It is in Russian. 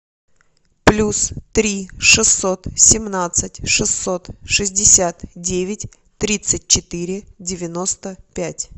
плюс три шестьсот семнадцать шестьсот шестьдесят девять тридцать четыре девяносто пять